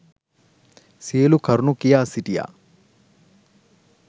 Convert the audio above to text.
සියලු කරුණු කියා සිටියා.